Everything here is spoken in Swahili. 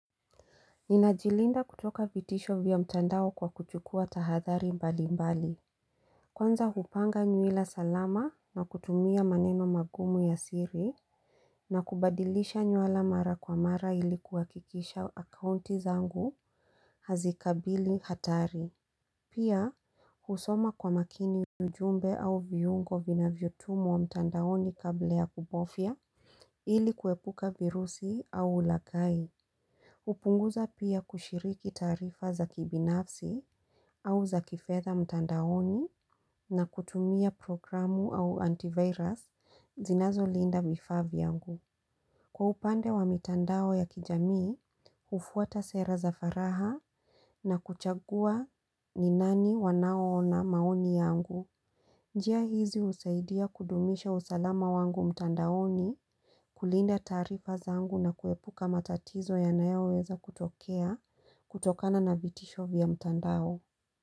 Ninajilinda kutoka vitisho vya mtandao kwa kuchukua tahathari mbali mbali. Kwanza hupanga nywila salama na kutumia maneno magumu ya siri na kubadilisha nyuala mara kwa mara ilikuwa kikisha akaunti zangu hazikabili hatari. Pia husoma kwa makini ujumbe au viungo vina vyotumwa mtandaoni kabla ya kubofya ilikuepuka virusi au ulaghai. Upunguza pia kushiriki taarifa za kibinafsi au za kifedha mtandaoni na kutumia programu au antivirus zinazo linda vifaa vyangu. Kwa upande wa mitandao ya kijami, ufuata sera za faragha na kuchagua ni nani wanaona maoni yangu. Njia hizi usaidia kudumisha usalama wangu mtandaoni kulinda tarifa zangu na kuepuka matatizo yanayoweza kutokea kutokana na vitisho vya mtandao.